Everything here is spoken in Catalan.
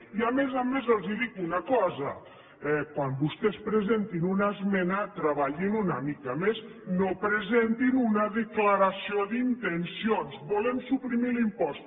i a més a més els dic una cosa quan vostès presentin una cosa treballin una mica més no presentin una declaració d’intencions volem suprimir l’impost